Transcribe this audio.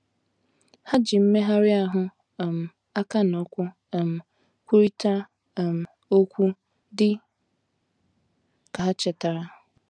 Ha ji mmegharị ahụ, “ um aka na ụkwụ ” um kwurịta um okwu, dị ka ha chetara.